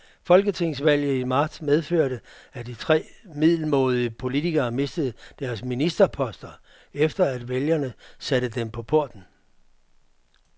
Folketingsvalget i marts medførte, at tre middelmådige politikere mistede deres ministerposter, efter at vælgerne satte dem på porten.